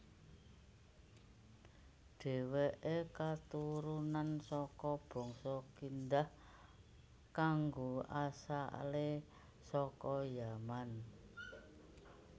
Déwèké keturunan saka bangsa Kindah kanga asalé saka Yaman